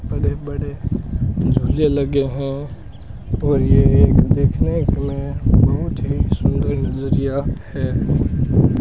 बड़े बड़े झूले लगे है और ये देखने में बहुत ही सुंदर नजरिया है।